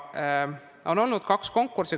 On olnud kaks konkurssi.